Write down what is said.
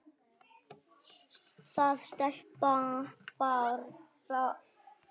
Það sleppa fáir.